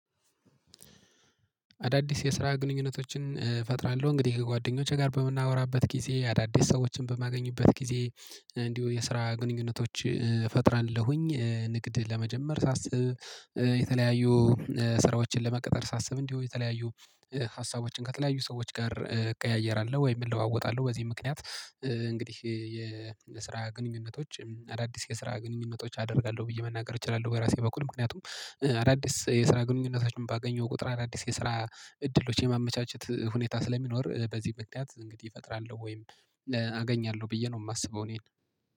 አዳዲስ የስራ ግንኙነቶችን እፈጥራለሁ እንግዲህ ከጓደኞቼ ጋር በምናወራበት ጊዜ አዳዲስ ሰዎችን በማገኙበት ጊዜ። እንዲሁ የስራ ግንኙነቶች ፈጥራለሁኝ። ንግድ ለመጀመር ሳስብ የተለያዩ ስራዎችን ለመቅጠር ሳስብ እንዲሁ የተለያዩ ሀሳቦችን ከተለያዩ ሰዎች ጋር እቀያየራለው ወይምን እለዋወጣለሁ በዚህ ምክንያት እንግዲህ የስራ ግንኙነቶች አዳዲስ የስራ ግንኙነቶች አደርጋለሁ ብዬ መናገር እችላለሁ። ወይ ራሴ በኩል ምክንያቱም አዳዲስ የስራ ግንኙነቶችን ባገኘው ቁጥር አዳዲስ የስራ እድሎች የማመቻቸት ሁኔታ ስለሚኖር በዚህ ምክንያት እንግዲህ እፈጥራለሁ ወይም አገኛለሁ ብዬ ነው የማስበው እኔን